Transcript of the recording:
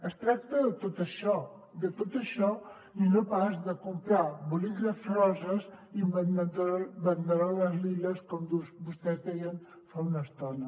es tracta de tot això de tot això i no pas de comprar bolígrafs roses i banderoles liles com vostès deien fa una estona